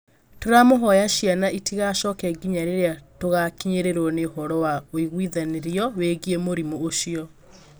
tũramũhoya ciana itigacoke nginya rĩrĩa tũgakinyĩrwo nĩ ũhoro wa ũigũithanĩrio wĩgĩe mũrimũ ũcio